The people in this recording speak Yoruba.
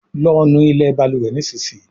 lọ nú ilé balùwè nísìsiyìí!